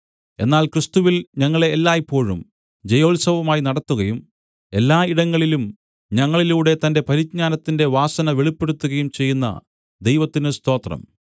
എന്നാൽ ക്രിസ്തുവിൽ ഞങ്ങളെ എല്ലായ്പോഴും ജയോത്സവമായി നടത്തുകയും എല്ലാ ഇടങ്ങളിലും ഞങ്ങളിലൂടെ തന്റെ പരിജ്ഞാനത്തിന്റെ വാസന വെളിപ്പെടുത്തുകയും ചെയ്യുന്ന ദൈവത്തിന് സ്തോത്രം